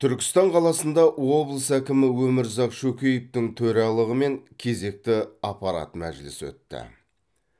түркістан қаласында облыс әкімі өмірзақ шөкеевтің төралығымен кезекті аппарат мәжілісі өтті